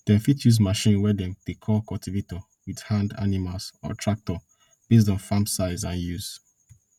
dem fit use machine we dem dey call cultivator wit hand animals or tractor based on farm size and use